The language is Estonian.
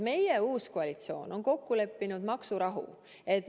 Meie uus koalitsioon on kokku leppinud maksurahu.